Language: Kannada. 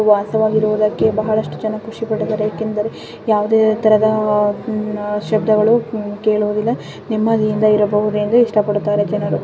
ವಾಸವಾಗಿರುವುದಕ್ಕೆ ಬಹಳಷ್ಟು ಜನ ಖುಷಿಪಟ್ಟು ಬರಲಿಕ್ಕೆ ಯಾವುದೇ ತರಹದ ಶಬ್ದಗಳು ಕೇಳುವುದಿಲ್ಲ. ನೆಮ್ಮದಿಯಿಂದ ಇರಬಹುದು ಎಂದು ಇಷ್ಟಪಡುತ್ತಾರೆ ಜನರು.